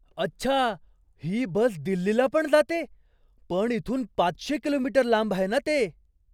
अच्छा! ही बस दिल्लीला पण जाते? पण इथून पाचशे किलो मीटर लांब आहे ना ते?